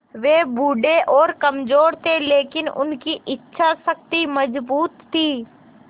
वे बूढ़े और कमज़ोर थे लेकिन उनकी इच्छा शक्ति मज़बूत थी